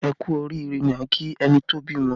Ẹ kú oriire ni a ki ẹni tó bímọ